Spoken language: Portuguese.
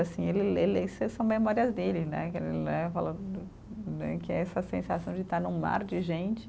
Assim ele, ele isso são memórias dele, né, que ele né, falou né, que é essa sensação de estar num mar de gente.